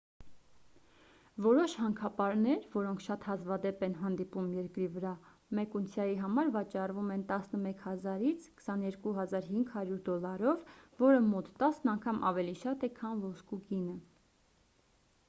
որոշ հանքապարներ որոնք շատ հազվադեպ են հանդիպում երկրի վրա մեկ ունցիայի համար վաճառվում են 11,000 - 22,500 դոլարով որը մոտ տասն անգամ ավելի շատ է քան ոսկու գինը